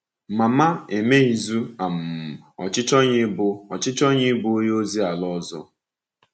Mama emeghịzu um ọchịchọ ya ịbụ ọchịchọ ya ịbụ onye ozi ala ọzọ.